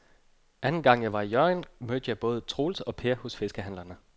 Anden gang jeg var i Hjørring, mødte jeg både Troels og Per hos fiskehandlerne.